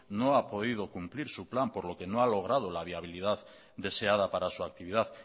no ha podido cumplir su plan por lo que no ha logrado la viabilidad deseada para su actividad